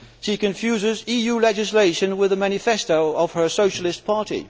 She confuses EU legislation with the manifesto of her Socialist Party.